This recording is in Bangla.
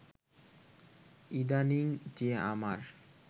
ইদানিং যে আমার